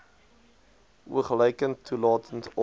oogluikend toelaat of